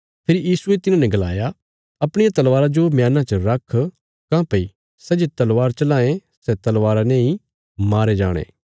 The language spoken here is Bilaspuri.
फेरी यीशुये तिन्हाने गलाया अपणिया तलवारा जो म्याना च रख काँह्भई सै जे तलवार चलांये सै तलवारा नेई मारे जाणे